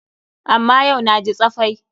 Amma yau na ji tsafai.